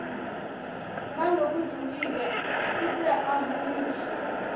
ngalokujulile kute ahumushe